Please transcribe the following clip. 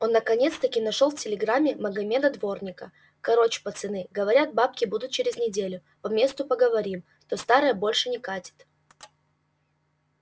наконец нашел-таки в телеграме магомеда-дворника короч пацаны говорят бабки будут через неделю по месту поговорим то старое больше не катит